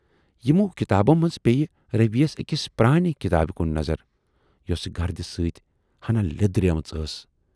یِمو کِتابَو منزٕ پییہِ روی ؔیَس ٲکِس پرانہِ کِتابہٕ کُن نظر، یۅسہٕ گردِ سۭتۍ ہَنا لیدریمٕژ ٲس۔